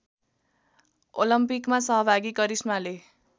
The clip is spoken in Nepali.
ओलम्पिकमा सहभागी करिश्माले